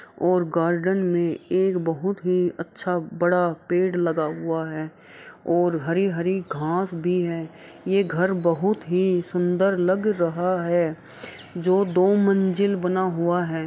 और गार्डन में एक बहुत ही अच्छा बड़ा पेड़ लगा हुआ है और हरी-हरी घांस भी है। ये ये घर बहुत ही सुंदर लग रहा है जो दो मंजिल बना हुआ है।